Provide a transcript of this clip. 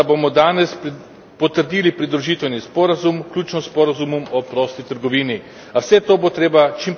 Izjemno sem vesel, da bomo danes potrdili pridružitveni sporazum, vključno s sporazumom o prosti trgovini.